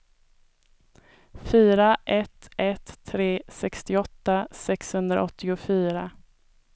fyra ett ett tre sextioåtta sexhundraåttiofyra